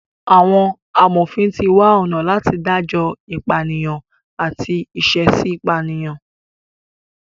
Àwọn amòfin ti wá ọ̀nà láti dájọ ìpànìyàn àti ìṣẹ̀èṣì pànìyàn.